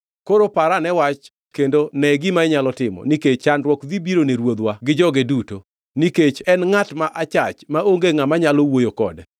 Koro par ane wach kendo ne gima inyalo timo, nikech chandruok dhi biro ne ruodhwa gi joge duto. Nikech en ngʼat ma achach maonge ngʼama nyalo wuoyo kode.”